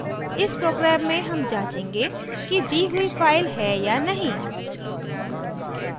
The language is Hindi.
इस program में हम जाँचेंगे कि दी हुई फाइल है या नहीं